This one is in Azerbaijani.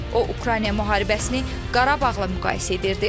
O Ukrayna müharibəsini Qarabağla müqayisə edirdi.